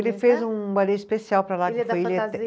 Ele fez um ballet especial para lá, que foi